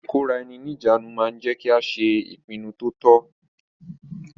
Ìkóraẹni ní ìjánu ma ń jẹ́ kí a ṣe ìpinnu to tọ́.